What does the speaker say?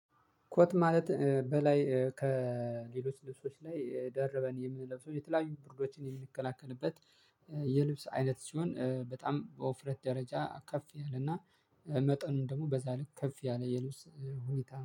ኮት ማለት በላይ ከሌሎች ልብሶች ላይ ደርበን የምንለብሰው የተለያዩ ብርዶችን የምንከላከልበት። የልብስ አይነት ሲሆን በጣም በውፍረት ደረጃ ከፍ ያለና መጠኑም ደግሞ በዛ ልክ ከፍ ያለ የልብስ ሁኔታ